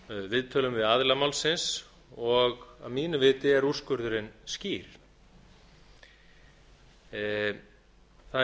viðtölum við aðila málsins og að mínu viti er úrskurðurinn skýr það er